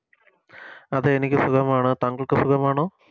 അതെ എനിക്ക് സുഖമാണ് താങ്കൾക്ക് സുഖമാണോ